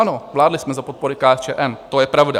Ano, vládli jsme za podpory KSČM, to je pravda.